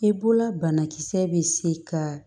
E bolola banakisɛ bɛ se ka